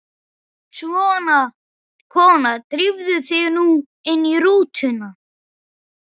Svona, kona, drífðu þig nú inn í rútuna